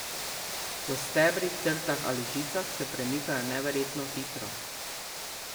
Po stebrih, trtah ali žicah se premikajo neverjetno hitro.